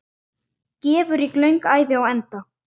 Gæfurík löng ævi á enda.